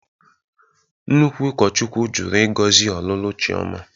Nnukwu ụkọchukwu jụrụ ịgọzi ọlụlụ Chiọma